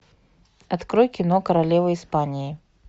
открой кино королева испании